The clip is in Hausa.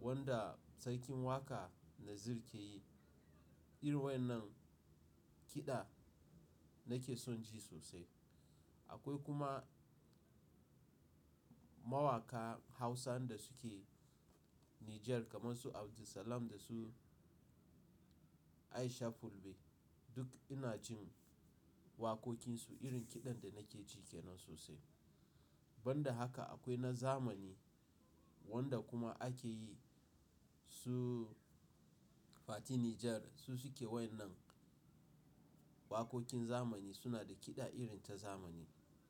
wanda sarkin waƙa Naziru ke yi. Irin wayannan kiɗa nake son ji sosai. Akwai kuma mawaƙa Hausa da suke Nijar kamar su Abdulsalam da su Aisha Fulbe. Duk ina jin waƙoƙinsu irin kiɗan da nake ji ke nan sosai. Ban da haka akwai na zamani wanda kuma ake yi su Fati Niger su suke wayannan waƙoƙin zamani suna da kiɗa irin ta zamani.